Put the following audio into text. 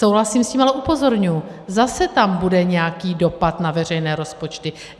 Souhlasím s tím, ale upozorňuji - zase tam bude nějaký dopad na veřejné rozpočty.